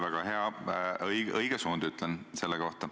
Väga hea ja õige suund, ütlen ma selle kohta.